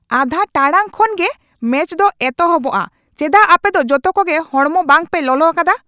ᱟᱫᱷᱟ ᱴᱟᱲᱟᱝ ᱠᱷᱟᱱ ᱜᱮ ᱢᱮᱪ ᱫᱚ ᱮᱛᱚᱦᱚᱯᱚᱜᱼᱟ ᱾ ᱪᱮᱫᱟᱜ ᱟᱯᱮ ᱫᱚ ᱡᱚᱛᱚ ᱠᱚᱜᱮ ᱦᱚᱲᱢᱚ ᱵᱟᱝ ᱯᱮ ᱞᱚᱞᱚ ᱟᱠᱟᱫᱟ ?